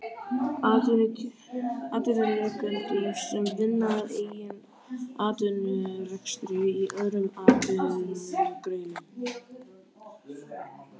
Atvinnurekendum sem vinna að eigin atvinnurekstri í öðrum atvinnugreinum.